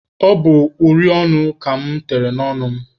Ọ bụ uri ọnụ ka mụ tere n'ọnụ mụ.